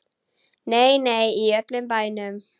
Nei, nei, í öllum bænum.